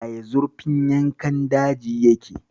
Yaya zurfin yankan daji yake?